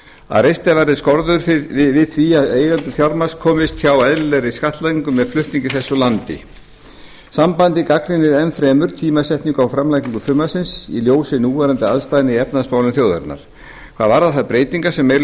að reistar verði skorður við því að eigendur fjármagns komist hjá eðlilegri skattlagningu með flutningi þess úr landi sambandið gagnrýnir enn fremur tímasetningu á framlagningu frumvarpsins í ljósi núverandi aðstæðna í efnahagsmálum þjóðarinnar hvað varðar þær breytingar sem meiri